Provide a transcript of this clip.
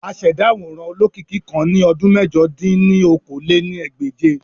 Àṣẹda aworan olokiki kan ni ọdun mẹ̀jọ dín ní okòó-lé-ní-ẹgbẹ́je.